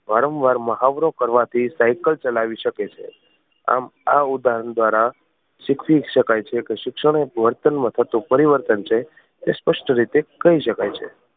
વારંવાર મહાવરો કરવાથી સાઇકલ ચલાવી શકે છે. આમ આ ઉદાહરણ દ્વારા શીખવી શકાય છે કે શિક્ષણ એ એક વર્તન માં થતું પરિવર્તન છે એ સ્પષ્ટ રીતે કહી શકાય છે.